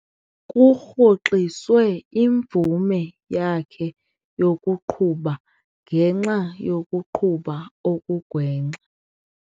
Kurhoxiswe imvume yakhe yokuqhuba ngenxa yokuqhuba okugwenxa.